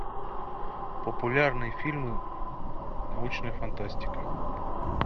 популярные фильмы научная фантастика